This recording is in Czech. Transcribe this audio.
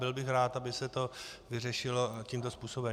Byl bych rád, aby se to vyřešilo tímto způsobem.